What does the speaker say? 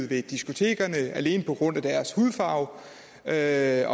ved diskotekerne alene på grund af deres hudfarve og jeg